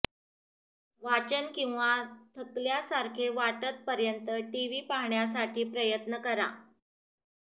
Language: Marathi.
वाचन किंवा थकल्यासारखे वाटत पर्यंत टीव्ही पाहण्यासाठी प्रयत्न करा